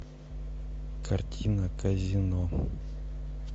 картина казино